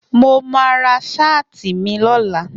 Mo ma ra sáàt mi lọ́la